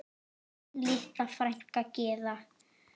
Þín litla frænka Gyða.